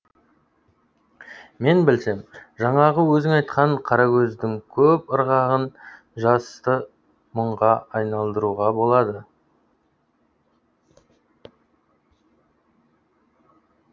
мен білсем жаңағы өзің айтқан қарагөздің көп ырғағын жасты мұңға айналдыруға болады